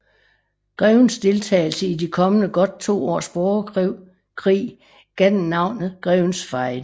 Grevens deltagelse i de kommende godt to års borgerkrig gav den navnet Grevens Fejde